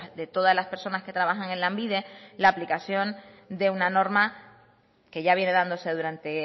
de todas las personas que trabajan en lanbide la aplicación de una norma que ya viene dándose durante